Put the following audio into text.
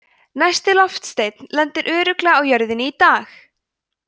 næsti loftsteinn lendir örugglega á jörðinni í dag!